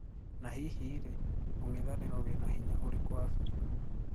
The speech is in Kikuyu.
Na hĩhĩ rĩĩ ung'ithaniro wĩna hinya urĩkũ Afrika?